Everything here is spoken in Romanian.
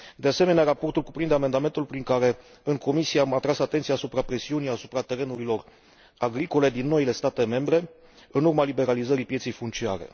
De asemenea, raportul cuprinde amendamentul prin care, în comisie, am atras atenția privind presiunea asupra terenurilor agricole din noile state membre, în urma liberalizării pieței funciare.